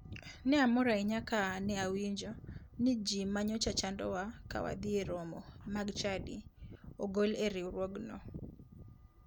Ne amor ahinya ka ne awinjo ni ji manyocha chandowa ka wadhi e romo mag chadi ogol e riwruogno.